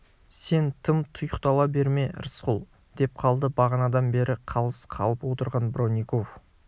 сен тым тұйықтала берме рысқұл деп қалды бағанадан бері қалыс қалып отырған бронников